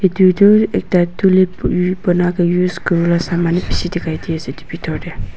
itu tu ekta tulip chulawole kuriwole saman bishi dikhai di ase itu dlbitor de.